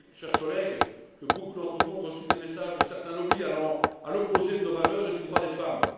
Je sais, chers collègues, que beaucoup d'entre vous ont reçu des messages de certains lobbys allant à l'opposé de nos valeurs et du droit des femmes.